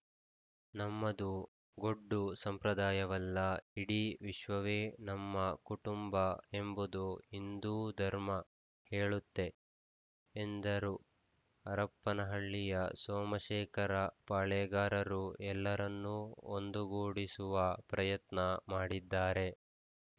ನಮ್ಮದು ಗೊಡ್ಡು ಸಂಪ್ರದಾಯವಲ್ಲ ಇಡೀ ವಿಶ್ವವೇ ನಮ್ಮ ಕುಟುಂಬ ಎಂಬುದು ಹಿಂದೂ ಧರ್ಮ ಹೇಳುತ್ತೆ ಎಂದರು ಹರಪ್ಪನಹಳ್ಳಿಯ ಸೋಮಶೇಖರ ಪಾಳೆಗಾರರು ಎಲ್ಲರನ್ನೂ ಒಂದುಗೂಡಿಸುವ ಪ್ರಯತ್ನ ಮಾಡಿದ್ದಾರೆ